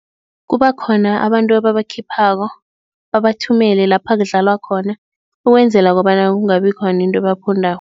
Kubakhona abantu ababakhiphako, babathumele lapha kudlalwa khona, ukwenzela kobana kungabi khona into ebaphundako.